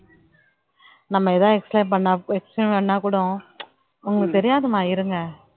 நம்ம ஏதாவது explain பண்ணா explain பண்ணா கூட உங்களுக்கு தெரியாதும்மா இருங்க